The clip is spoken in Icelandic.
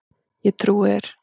Ég trúi þér